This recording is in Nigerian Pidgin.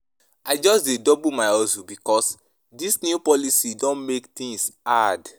I just dey double my hustle because dis new policy don make tins hard.